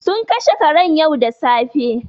Sun kashe karen yau da safe.